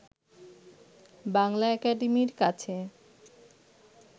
বাংলা একাডেমীর কাছে